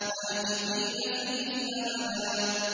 مَّاكِثِينَ فِيهِ أَبَدًا